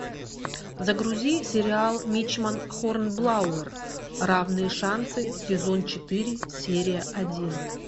загрузи сериал мичман хорнблауэр равные шансы сезон четыре серия один